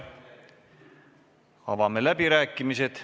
Avame läbirääkimised.